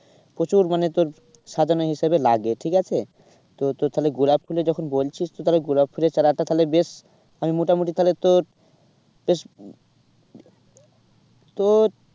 প্রচুর মানে তোর সাজানো হিসাবে লাগে ঠিক আছে। তো তোর তাহলে গোলাপ ফুলে যখন বলছিস তো তাহলে গোলাপ ফুলের চারাটা তাহলে বেশ আমি মোটামুটি তাহলে তোর বেশ তোর